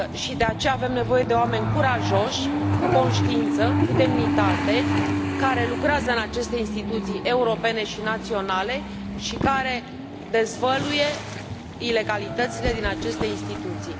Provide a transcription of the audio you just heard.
De aceea avem nevoie de oameni curajoși, cu conștiință, cu demnitate, care lucrează în aceste instituții europene și naționale și care dezvăluie ilegalitățile din aceste instituții.